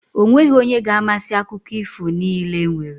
O nweghi onye ga-amasị akụko ifo niile e nwere.